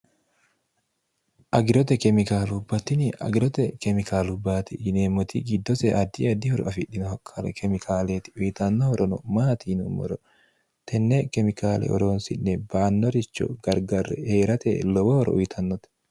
agirote kemikaalubbattini agirote kemikaalu baati yineemmoti giddose addi addihoro afidhinoha k kemikaaleeti uyitannohorono maatiinommoro tenne kemikaale oroonsinne baannoricho gargarre hee'rate lowohoro uyitannote